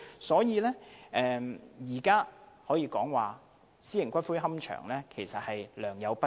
所以，現時私營龕場可說是良莠不齊。